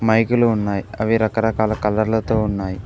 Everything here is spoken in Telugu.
మైకులు ఉన్నాయి అవి రకరకాల కలర్ లతో ఉన్నాయి.